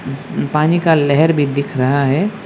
पानी का लहर भी दिख रहा है।